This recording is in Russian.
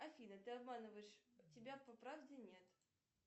афина ты обманываешь тебя по правде нет